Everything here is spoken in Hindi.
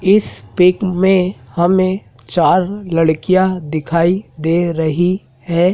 इस पिक में हमें चार लड़कियाँ दिखाई दे रही हैं।